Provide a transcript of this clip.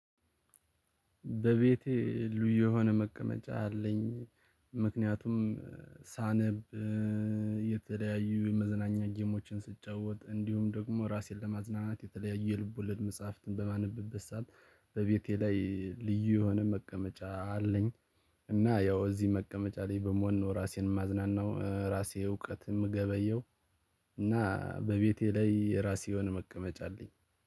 በቤቴ ልዩ የሆነ መቀመጫ አለኝ። ምክንያቱም ሳነብ የተለያዩ የመዝናኛ እጅግ ስትጫወት እንዲሁም ደግሞ ራሴን ለማዝናናት የተለያዩ የልብ ወለድ መጽሐፍትን በማንም ብበሳል። በቤቴ ላይ ልዩ የሆነ መቀመጫ አለኝ። እና ያው እዚህ መቀመጫ ላይ በመሆን ነው ራሴን ማዝናናው ራሴ እውቀት ምገበየው። እና በቤቴ ላይ የራሴ የሆነ መቀመጫ አለኝ